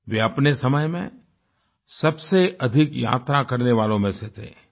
वे अपने समय में सबसे अधिक यात्रा करने वालों में से थे